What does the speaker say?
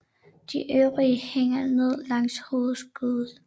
De øvrige hænger ned langs hovedskuddet